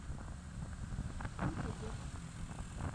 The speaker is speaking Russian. чук и гек